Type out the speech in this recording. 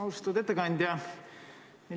Austatud ettekandja!